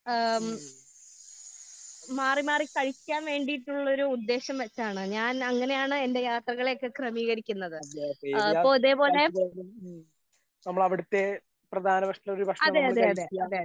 ഏഹ് മാറി മാറി കഴിക്കാൻ വേണ്ടിയിട്ടുള്ള ഒരു ഉദ്ദേശം വെച്ചാണ് ഞാൻ അങ്ങനെയാണ് എന്റെ യാത്രകളെ ഒക്കെ ക്രമീകരിക്കുന്നത്. ഏഹ് ഇപ്പോ ഇതേ പോലെ അതെ അതെ അതെ അതെ